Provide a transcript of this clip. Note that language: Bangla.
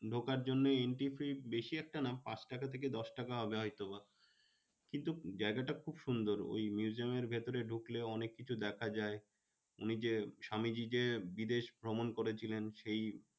ঢোকার জন্যে entry fee বেশি একটা না পাঁচ টাকা থেকে দশটাকা হবে হয়তো। কিন্তু জায়গাটা খুব সুন্দর ওই museum এর ভেতরে ঢুকলে অনেককিছু দেখা যায়। উনি যে স্বামীজী যে বিদেশ ভ্রমণ করছিলেন সেই